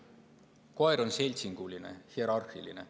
Koer on seltsinguline, hierarhiline.